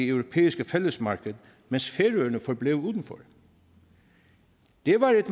europæiske fællesmarked mens færøerne forblev udenfor det var et